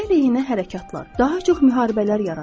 Müharibə əleyhinə hərəkatlar daha çox müharibələr yaradır.